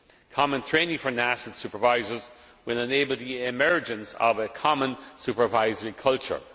Common training for national supervisors will enable the emergence of a common supervisory culture.